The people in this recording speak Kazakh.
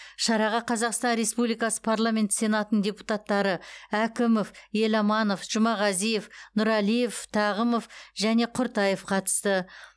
шараға қазақстан республикасы парламенті сенатының депутаттары әкімов еламанов жұмағазиев нұралиев тағымов және құртаев қатысты